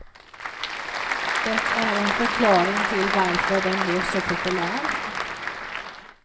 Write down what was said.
Det är en förklaring till varför den blev så populär.